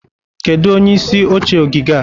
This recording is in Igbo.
Kedu onye isi oche ogige a?